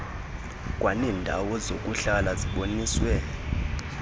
kwaneendawo zokuhlala ziboniswe